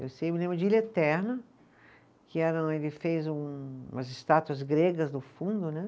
Eu sei, eu me lembro de Ilha Eterna, que era um, ele fez um umas estátuas gregas no fundo, né?